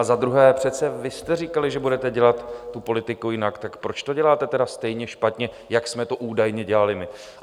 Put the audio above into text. A za druhé, přece vy jste říkali, že budete dělat tu politiku jinak, tak proč to děláte tedy stejně špatně, jak jsme to údajně dělali my?